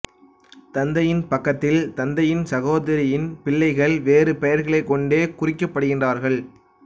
தந்தையின் பக்கத்தில் தந்தையின் சகோதரியின் பிள்ளைகள் வேறு பெயர்கள் கொண்டே குறிக்கப்படுகிறார்கள்